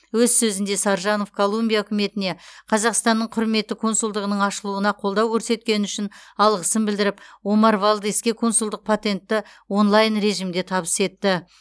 өз сөзінде саржанов колумбия үкіметіне қазақстанның құрметті консулдығының ашылуына қолдау көрсеткені үшін алғысын білдіріп омар валдеске консулдық патентті онлайн режимде табыс етті